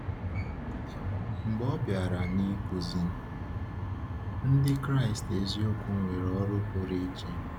Mgbe ọ bịara n’ịkụzi, Ndị Kraịst eziokwu nwere ọrụ pụrụ iche.